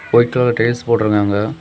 White colour tiles போட்டுருக்காங்க.